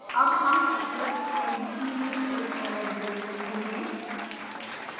अब हम eclipse ide में एक error देख सकते हैं